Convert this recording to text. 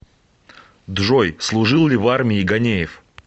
джой служил ли в армии ганеев